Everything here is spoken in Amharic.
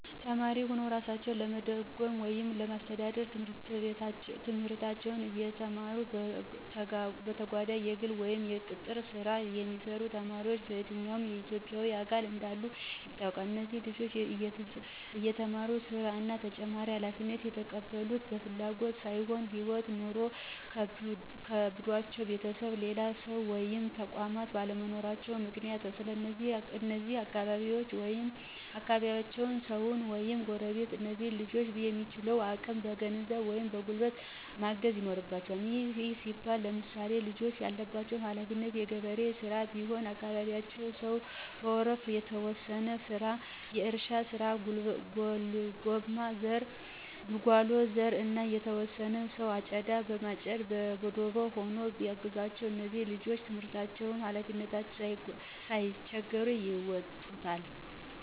ተማሪ ሁነዉ እራሳቸዉን ለመደጎም ወይም ለማስተዳደር፤ ትምህርታቸዉን እየተማሩ በተጋጓዳኝ የግል ወይም የቅጥር ሥራ የሚሰሩ ተማሪዎች በየትኛዉም የኢትዬጵያ አካባቢ እንዳሉ ይታወቃል። እነዚህ ልጆች እየተማሩ ሥራ እና ተጨማሪ ሀላፊነት የተቀበሉት በፍላጎት ሳይሆን ህይወት (ኑሮ) ከብዷቸዉ ቤተሰብ፣ ሌላ ሰዉ ወይም ተቋማት ባለመኖራቸዉ ምክንያት ነው። ስለዚህ የአካባቢያቸዉ ሰዉ ወይም ጎረቤቶች እነዚህን ልጆች በሚችሉት አቅም በገንዘብ ወይም በጉልበት ማገዝ ይኖርበቸዋል። ይህም ሲባል ለምሳሌ፦ ልጆቹ ያለባቸው ሀለፊነት የገበሬ ሥራ ቢሆን የአካባቢያቸው ሰዉ በወረፋ፤ የተወሰነ ሰዉ የእርሻ ስራ፣ የጉልጓሎ፣ የዘር እና የተወሰነ ሰዉ አጨዳ በማጨድ በደቦ ሆኖ ቢያግዛቸዉ እነዚህ ልጆች ትምህርታቸዉንም ሀላፊነታቸዉንም ሳይቸገሩ ይወጡታል።